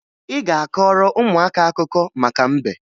Ị ga-akọọrọ ụmụaka akụkọ maka mbe